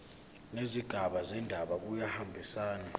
nezigaba zendaba kuyahambisana